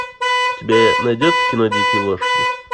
у тебя найдется кино дикие лошади